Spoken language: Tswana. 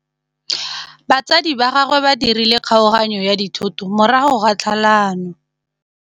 Batsadi ba gagwe ba dirile kgaoganyô ya dithoto morago ga tlhalanô.